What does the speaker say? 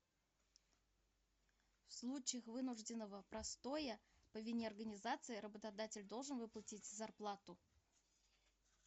в случаях вынужденного простоя по вине организации работодатель должен выплатить зарплату